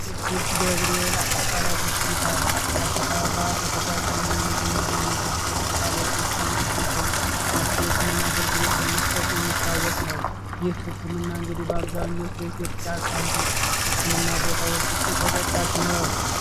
ቅዱስ ገብርኤል አጠቃላይ ሆስፒታል በአዲስ አበባ ውስጥ ከተቋቋሙ የግል ሆስፒታሎች ውስጥ አንዱ ሲሆን ሰፊ የህክምና አገልግሎት በመስጠት የሚታወቅ ነው ይህ ህክምና እንግዲህ በአብዛኛው የኢትዮጵያ ካሉ የህክምና ቦታዎች ውስጥ ተጠቃሽ ነው።